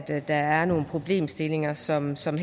der er nogle problemstillinger som som